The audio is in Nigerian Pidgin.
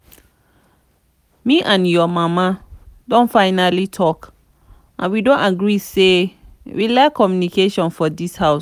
me and your mama don finally talk and we don agree say we lack communication for dis house